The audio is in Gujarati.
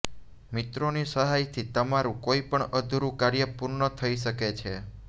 મિત્રોની સહાયથી તમારું કોઈપણ અધૂરું કાર્ય પૂર્ણ થઈ શકે છે